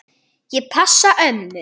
Ég passa ömmu.